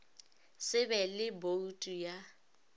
se be le boutu ya